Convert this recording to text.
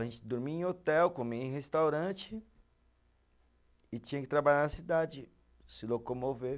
A gente dormia em hotel, comia em restaurante e tinha que trabalhar na cidade, se locomover.